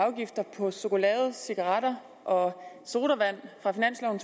afgifter på chokolade cigaretter og sodavand fra finansloven